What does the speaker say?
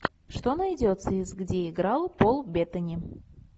что найдется из где играл пол беттани